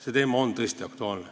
See teema on tõesti aktuaalne.